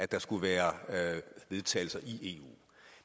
der skulle være vedtagelser i eu